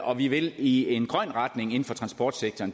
og vi vil i en grøn retning inden for transportsektoren